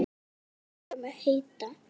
Æsingur hans gerir mig heita.